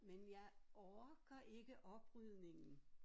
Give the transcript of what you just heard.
Men jeg orker ikke oprydningen